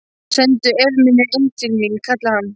Sendu Efemíu inn til mín, kallaði hann.